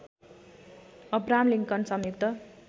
Abraham Lincoln संयुक्त